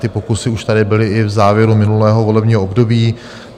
Ty pokusy už tady byly i v závěru minulého volebního období.